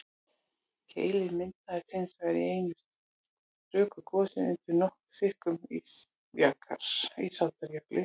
keilir myndaðist hins vegar í einu stöku gosi undir nokkuð þykkum ísaldarjökli